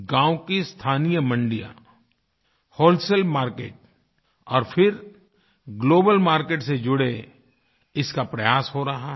गाँव की स्थानीय मंडियां व्होलसेल मार्केट और फिर ग्लोबल मार्केट से जुड़े इसका प्रयास हो रहा है